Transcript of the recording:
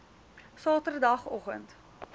saterdagoggend